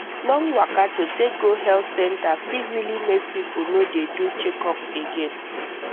long waka to take go health center fit really make people no dey do checkup again